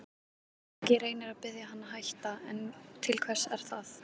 Siggi reynir að biðja hann að hætta, en til hvers er það?